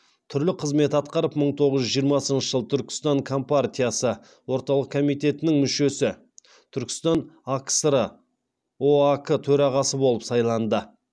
түрлі қызмет атқарып мың тоғыз жүз жиырмасыншы жылы түркістан компартиясы орталық комитетінің мүшесі түркістан акср оак төрағасы болып сайланды